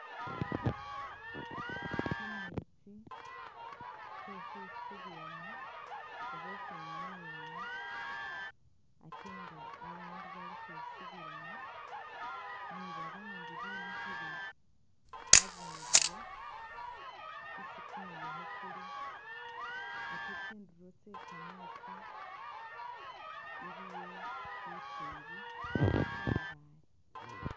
Kameetsi ke ukhwisubilamu oba ukhwinyayilamu ate nga abaandu bali ukhwisubilamu ni babandi bimikhile abundulo isi kumuyekhe kuli ate tsindulo tsye kameetsi iliyo lukingi ni kamabaale.